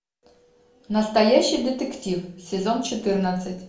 настоящий детектив сезон четырнадцать